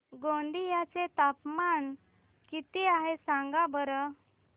गोंदिया चे तापमान किती आहे सांगा बरं